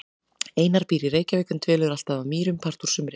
Einar býr í Reykjavík en dvelur alltaf að Mýrum part úr sumri.